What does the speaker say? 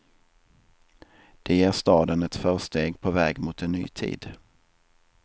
Det ger staden ett försteg på väg mot en ny tid.